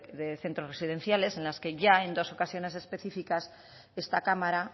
de centros residenciales en las que ya en dos ocasiones específicas esta cámara